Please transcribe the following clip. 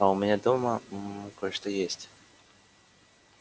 а у меня дома мм кое-что есть